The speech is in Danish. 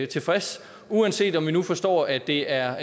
tilfreds uanset om vi nu forstår at det er